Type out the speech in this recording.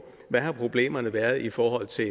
hvad problemerne har været i forhold til